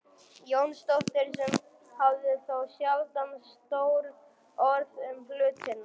Jónsdóttir sem hafði þó sjaldan stór orð um hlutina.